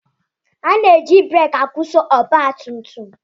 Ana-eji breekị akwụsị ọgbatumtum.